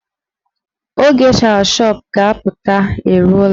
Oge shawashọp ga-apụta eruola.